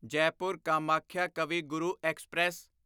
Jaipur Kamakhya Kavi Guru express